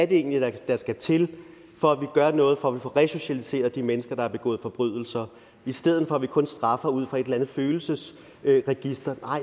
det egentlig er der skal til for at vi gør noget for at vi får resocialiseret de mennesker der har begået forbrydelser i stedet for at vi kun straffer ud fra et eller andet følelsesregister